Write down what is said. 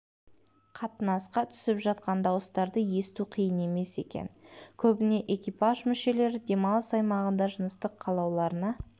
қатынасқа түсіп жатқан дауыстарды есту қиын емес екен көбіне экипаж мүшелері демалыс аймағында жыныстық қалауларына